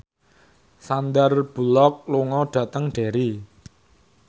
Sandar Bullock lunga dhateng Derry